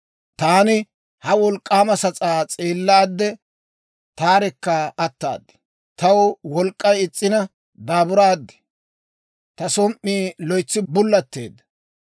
Taani ha wolk'k'aama sas'aa s'eellaade, taarekka ataad; taw wolk'k'ay is's'ina daaburaad; ta som"ii loytsi bullatteedda.